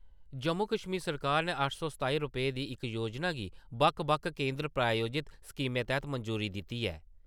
जम्मू-कश्मीर सरकार ने अट्ठ सौ सताई रपेंऽ दी इक योजना गी बक्ख-बक्ख केंदर प्रायोजित स्कीमें तैह्त मंजूरी दिती ऐ।